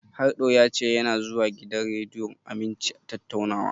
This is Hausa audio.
Harɗo ya ce yana zuwa gidan rediyon Aminci tattaunawa.